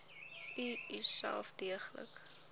u uself deeglik